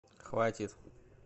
хватит